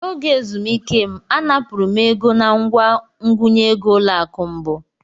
N'oge ezumike m, anapụrụ m ego nangwa ngụnye egoỤlọakụ Mbu.